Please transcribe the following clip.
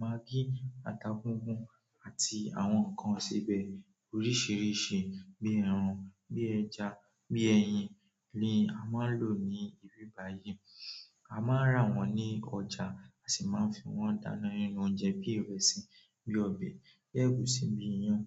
maggi, ata gungùn àti àwọn nkán isebẹ oríṣiríṣi bí ẹran bi ẹja bí ẹyin ni a má ǹ lo ní ibi báyìí. A máa ń ra wọ́n ní ọjà, a sì máa ń fi wọ́n dáná nínú oúnjẹ bíi ìrẹsì, bíi ọbẹ̀, bi ẹ́gùsí bíi iyán.